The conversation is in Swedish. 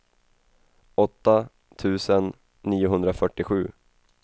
åtta tusen niohundrafyrtiosju